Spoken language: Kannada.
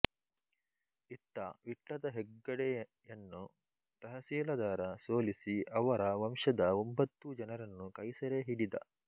ಇತ್ತ ವಿಟ್ಲದ ಹೆಗ್ಗಡೆಯನ್ನು ತಹಶೀಲದಾರ ಸೋಲಿಸಿ ಅವರ ವಂಶದ ಒಂಬತ್ತು ಜನರನ್ನು ಕೈಸೆರೆಹಿಡಿದ